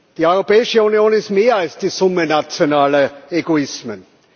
Die Europäische Union ist mehr als die Summe nationaler Egoismen.